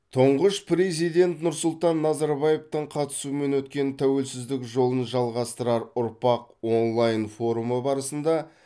тұңғыш президент нұрсұлтан назарбаевтың қатысуымен өткен тәуелсіздік жолын жалғастырар ұрпақ онлайн форумы барысында